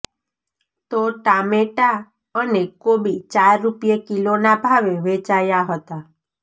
તો ટામેટાં અને કોબી ચાર રૂપિયે કિલોના ભાવે વેચાયા હતા